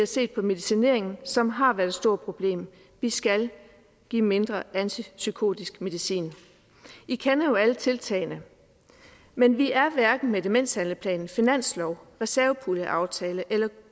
set på medicineringen som har været et stort problem vi skal give mindre antipsykotisk medicin vi kender jo alle tiltagene men vi er hverken med demenshandlingsplanen finansloven reservepuljeaftalen eller